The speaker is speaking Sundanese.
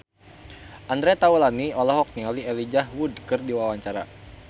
Andre Taulany olohok ningali Elijah Wood keur diwawancara